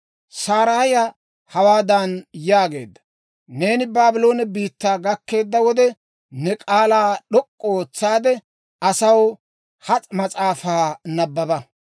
Saraaya hawaadan yaageedda; «Neeni Baabloone biittaa gakkeedda wode, ne k'aalaa d'ok'k'u ootsaade, asaw ha mas'aafaa nabbaba.